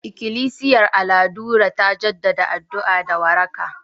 Ikilisiyar Aladure ta jaddada addu'a da waraka